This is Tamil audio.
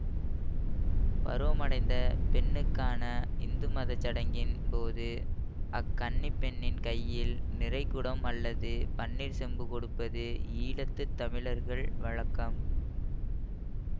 பருவமடைந்த பெண்ணுக்கான இந்துமத சடங்கின் போது அக் கன்னிப் பெண்ணின் கையில் நிறைகுடம் அல்லது பன்னீர் செம்பு கொடுப்பது ஈழத்து தமிழர் வழக்கம்